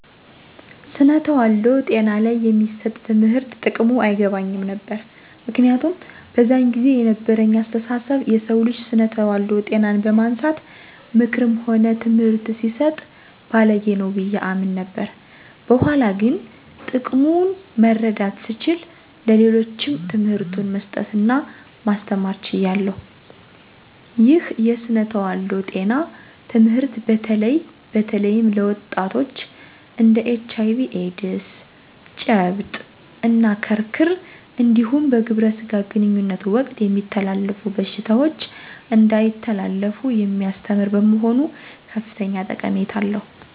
ስነ ተዋልዶ ጤና ላይ የሚሰጥ ትምህርት ጥቅሙ አይገባኝም ነበር። ምክንያቱም በዛን ጊዜ የነበረኝ አስተሳሰብ የሰው ልጅ ስነ ተዋልዶ ጤናን በማንሳት ምክርም ሆነ ትምህርት ሲሰጥ ባልጌ ነው ብዬ አምን ነበር። በኋላ ግን ጥቅሙ መረዳት ስችል ለሌሎችም ትምህርቱን መስጠት እና ማስተማር ችያለሁ። ይህ የስነ ተዋልዶ ጤና ትምህርት በተለይም ለወጣቶች እንድ ኤች አይ ቪ ኤዲስ፤ ጨብጥ እና ክርክር እንዲሁም በግብረ ስጋ ግንኙነት ወቅት የሚተላለፉ በሽታዎች እንዳይተላለፉ የሚያስተምር በመሆኑ ከፍተኛ ጠቀሜታ አለው።